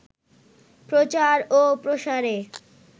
প্রচার ও প্রসারে